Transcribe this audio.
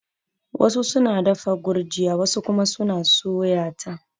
Wasu suna dafa gurjiya wasu kuma suna suya ta